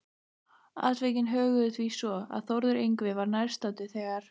Atvikin höguðu því svo, að Þórður Yngvi var nærstaddur þegar